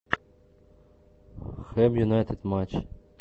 хэм юнайтед матч